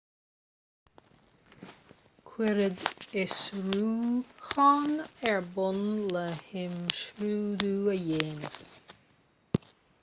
cuireadh fiosrúchán ar bun le himscrúdú a dhéanamh